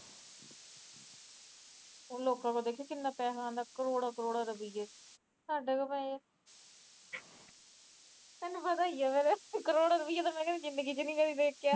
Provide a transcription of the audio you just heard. ਲੋਕਾਂ ਕੋਲ ਪਤਾ ਕਿੰਨਾ ਪੈਹਾ ਆਂਦਾ ਕਰੋੜਾ ਕਰੋੜਾ ਰੁਪੀਏ ਸਾਡੇ ਕੋਲ ਤੈਨੂੰ ਪਤਾ ਈਏ ਕਰੋੜ ਰੁਪੀਆਂ ਤਾ ਕਦੇ ਜਿੰਦਗੀ ਚ ਨੀ ਦੇਖਿਆਂ